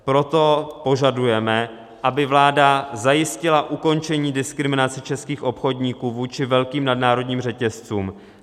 Proto požadujeme, aby vláda zajistila ukončení diskriminace českých obchodníků vůči velkým nadnárodním řetězcům;